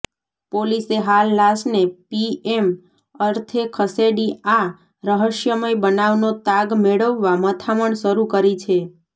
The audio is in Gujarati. પોલીસે હાલ લાશને પીએમ અર્થે ખસેડી આ રહસ્યમય બનાવનો તાગ મેળવવા મથામણ શરૂ કરી છે